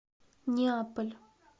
неаполь